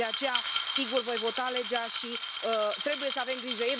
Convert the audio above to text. De aceea, sigur voi vota legea și trebuie să avem grijă.